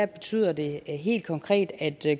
betyder det helt konkret at